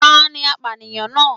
Tani apánìyàn náà